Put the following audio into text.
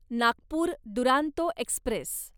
Nagpur Duronto Express